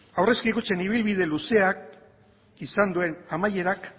aurrezki kutxen ibilbide luzeak izan duen amaierak